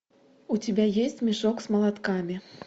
у тебя есть мешок с молотками